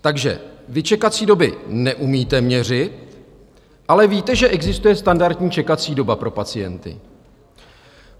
Takže vy čekací doby neumíte měřit, ale víte, že existuje standardní čekací doba pro pacienty.